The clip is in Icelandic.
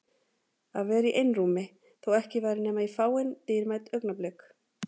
Að vera í einrúmi- þó ekki væri nema í fáein dýrmæt augnablik.